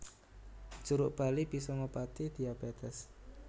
Jeruk bali bisa ngobati diabétés